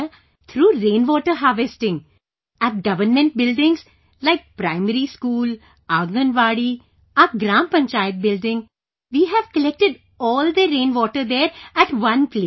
Sir, through rainwater harvesting at government buildings like primary school, Anganwadi, our Gram Panchayat building... we have collected all the rain water there, at one place